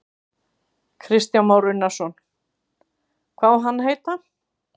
Kristján Már Unnarsson: Hvað á hann að heita?